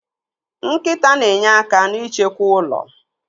Nkịta na enye aka n'ịchekwa ụlọ.